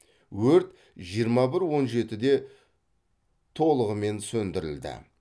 өрт жиырма бір он жетіде толығымен сөндірілді